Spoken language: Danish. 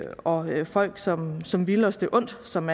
og folk som som ville os det ondt som